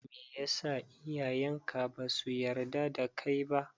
Meyasa iyayen ka basu yarda da kai ba?